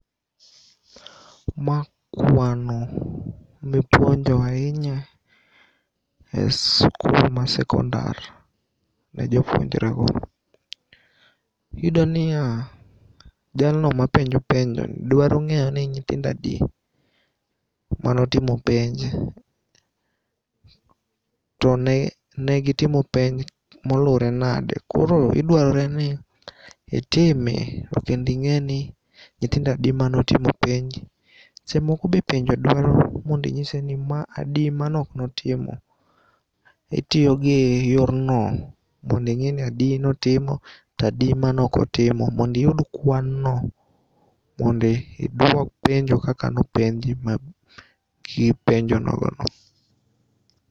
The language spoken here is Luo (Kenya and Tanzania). Ma kwano mipuonjo ainya e skul mar sekondar ne jopuonjre go. Iyudoniya jalno mapenjo penjo dwarong'eyo ni nyithindo adi manotimo penj to negitimo penj molure nade koro idwareni itime kending'eni nyithindo adi manotimo penj. Sechemoko be penjo dwaro mondinyise ni ma adi manoknotimo. Itiyo gi yorno mondo ing'eni adi notimo to adi manokotimo mondiyud kwanno mondi iduok penjo kaka nopenji gi penjo nogono.